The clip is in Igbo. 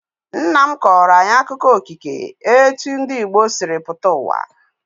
Nna m kọrọ anyị akụkọ okike etu ndị Igbo sịrị pụta uwa